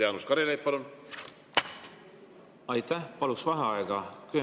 Jaanus Karilaid, palun!